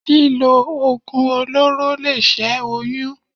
Lílo Oògùn olóró lè ṣẹ́ oyún.